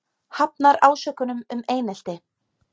Hafnar ásökunum um einelti